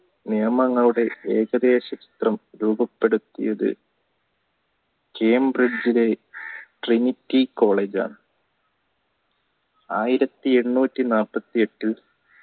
നിയമങ്ങളുടെ ഏകദേശ രൂപം രൂപപ്പെടുത്തിയത് kembrish ലെ ckriniki coala യിലാണ് ആയിരത്തി എണ്ണൂറ്റി നാപ്പത്തി എട്ടിൽ